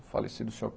O falecido Senhor